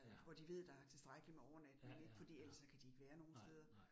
Ja. Ja ja ja, nej nej